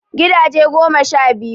Gidaje goma sha biyu